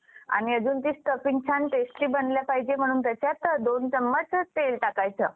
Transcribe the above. So तुम्हाला इथे खाली दिसतंय बघा arrow. जर expiry पर्यंत market जर इथेच राहील. market कुठेच हललं नाही इथेच राहील. तर तुम्हाला दोन हजार दोनशे रुपये profit ए.